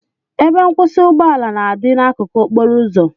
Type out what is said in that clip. Ebe nkwụsị ụgbọ ala na-adị n'akụkụ okporo ụzọ